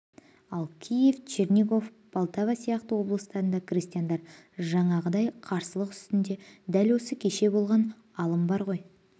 ал киев чернигов полтава сияқты облыстарда крестьяндар жаңағыдай қарсылық үстінде дәл осы кеше болған алым бар ғой